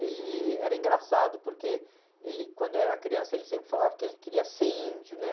Ele era engraçado porque ele, quando era criança, ele sempre falava que ele queria ser índio, né?